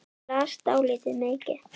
Ég las dálítið mikið.